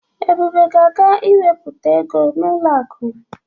Ebube ga-aga iwepụta ego n'ụlọ akụ.